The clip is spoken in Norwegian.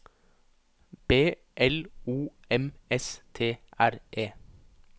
B L O M S T R E